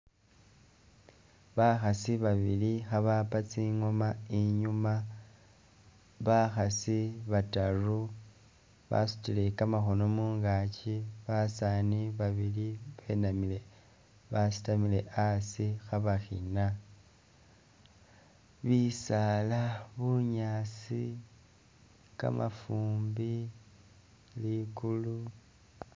Bakhaasi babili khabapa tsingoma inyuma, bakhaasi bataru basutile kamakhono mungaaki, basaani babili benamile basitamile asi khabakhiina, bisaala, bunyaasi, kamafumbi, ligulu